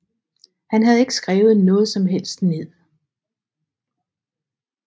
Han havde ikke skrevet noget som helst ned